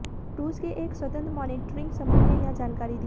रूस के एक स्वतंत्र मॉनिटरींग समूह ने यह जानकारी दी